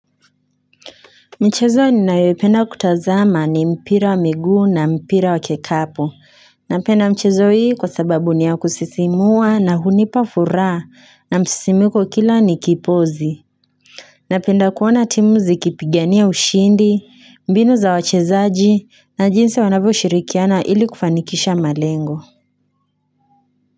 Michezo ninayoipenda kutazama ni mpira wa miguu na mpira wa kikapo Napenda mchezo hii kwa sababu niya kusisimua na hunipafuraha na msisimuko kila ni kipozi Napenda kuona timu zikipigania ushindi, mbinu za wachezaji na jinsi wanavyo shirikiana ili kufanikisha malengo.